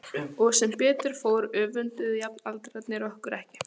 Og sem betur fór öfunduðu jafnaldrarnir okkur ekki.